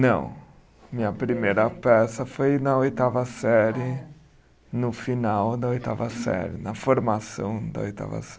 Não, minha primeira peça foi na oitava série, no final da oitava série, na formação da oitava